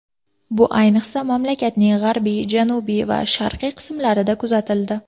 Bu ayniqsa mamlakatning g‘arbiy, janubiy va sharqiy qismlarida kuzatildi.